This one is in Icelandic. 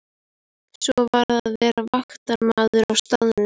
Svo varð að vera vaktmaður á staðnum.